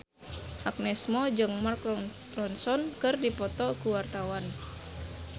Agnes Mo jeung Mark Ronson keur dipoto ku wartawan